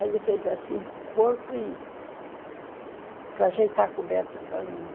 Aí ele fez assim com o corpo e para ajeitar a coberta para mim.